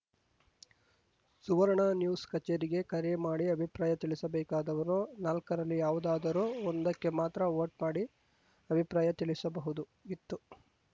ಸುವರ್ಣ news ಕಚೇರಿಗೆ ಕರೆ ಮಾಡಿ ಅಭಿಪ್ರಾಯ ತಿಳಿಸಬೇಕಾದವರು ನಾಲ್ಕರಲ್ಲಿ ಯಾವುದಾದರೂ ಒಂದಕ್ಕೆ ಮಾತ್ರ ವೋಟ್‌ ಮಾಡಿ ಅಭಿಪ್ರಾಯ ತಿಳಿಸಬಹುದು ಗಿತ್ತು